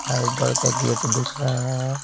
Fibre का gate दिख रहा है।